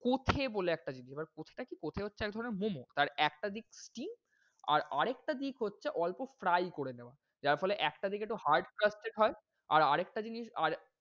কোছে বলে একটা জিনিস এবার কোছে টা কি? কোছে হচ্ছে এক ধরনের momo তার একটা দিক কি? আর আরেকটা দিক হচ্ছে অল্প fry করে দেওয়া। যার ফলে একটা দিক একটু hard crasted হয়। আর, আরেকটা জিনিস আর,